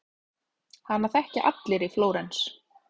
Hana þekkja allir í Flórens.